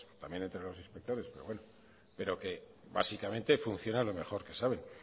también entre los inspectores pero bueno pero que básicamente funciona lo mejor que saben